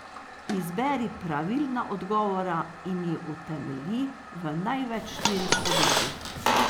Izberi pravilna odgovora in ju utemelji v največ štirih povedih.